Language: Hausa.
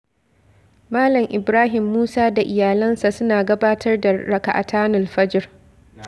Malam Ibrahim Musa da Iyalansa suna gabatar da ra'akatanul fajr.